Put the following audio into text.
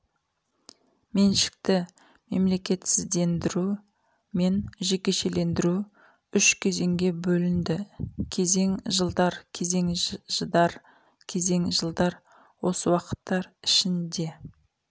меншікті мемлекетсіздендіру мен жекешелендіру үш кезеңге бөлінді кезең жылдар кезең жыдар кезең жылдар осы уақыттар ішінде